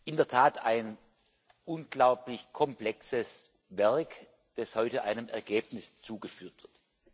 In der Tat ein unglaublich komplexes Werk, das heute einem Ergebnis zugeführt wird!